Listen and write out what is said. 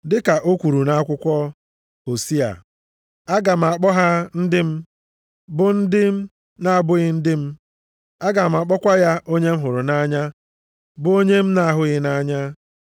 Dịka o kwuru nʼakwụkwọ Hosiya, “Aga m akpọ ha ‘ndị m,’ bụ ndị na-abụghị ndị m. Aga m akpọkwa ya ‘onye m hụrụ nʼanya’ bụ onye m na-ahụghị nʼanya.” + 9:25 \+xt Hos 2:23\+xt*